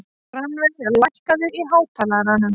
Rannveig, lækkaðu í hátalaranum.